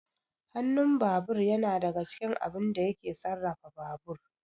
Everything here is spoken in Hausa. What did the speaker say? Hanun babur yana daga cikin abun da yake sarrafa babur